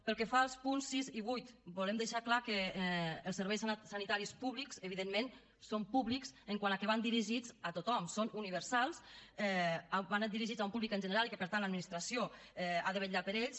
pel que fa als punts sis i vuit volem deixar clar que els serveis sanitaris públics evidentment són públics quant a que van dirigits a tothom són universals van dirigits a un públic en general i que per tant l’administració ha de vetllar per ells